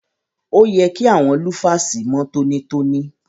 Òye kí àwọn lúfàsì mọ́ tọ́nítọ́ní.